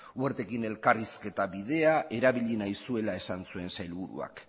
wertekin elkarrizketa bidea erabili nahi zuela esan zuen sailburuak